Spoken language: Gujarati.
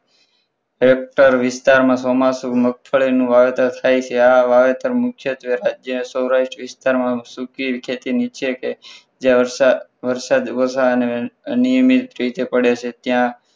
Hector વિસ્તારમાં ચોમાસુ મગફળીનું વાવેતર થાય છે આ વાવેતર મુખ્યત્વે રાજ્ય સૌરાષ્ટ્ર વિસ્તારમાં શુદ્ધ ખેતી નીચે કે જે વરસાદ વરસાદ અનિયમિત રીતે પડે છે ત્યાં